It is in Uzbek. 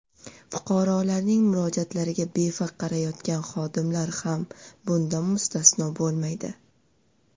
Fuqarolarning murojaatlariga befarq qarayotgan xodimlar ham bundan mustasno bo‘lmaydi.